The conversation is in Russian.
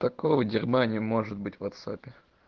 такого дерьма может быть в ватсапе